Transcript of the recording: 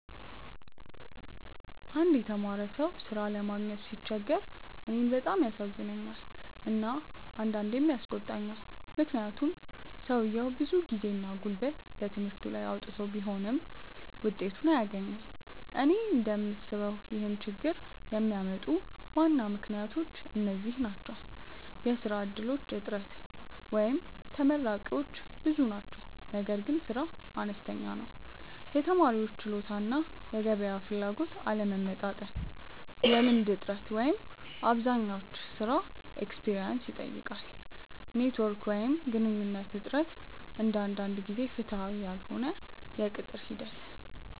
አንድ የተማረ ሰው ሥራ ለማግኘት ሲቸገር እኔን በጣም ያሳዝነኛል እና አንዳንዴም ያስቆጣኛል፤ ምክንያቱም ሰውየው ብዙ ጊዜና ጉልበት በትምህርቱ ላይ አውጥቶ ቢሆንም ውጤቱን አያገኝም። እኔ እንደምስበው ይህን ችግኝ የሚያመጡ ዋና ምክንያቶች እነዚህ ናቸው፦ የሥራ እድሎች እጥረት (ተመራቂዎች ብዙ ናቸው ነገር ግን ሥራ አነስተኛ ነው) የተማሪዎች ችሎታ እና የገበያ ፍላጎት አለመመጣጠን የልምድ እጥረት (አብዛኛው ሥራ “experience” ይጠይቃል) ኔትዎርክ ወይም ግንኙነት እጥረት አንዳንድ ጊዜ ፍትሃዊ ያልሆነ የቅጥር ሂደት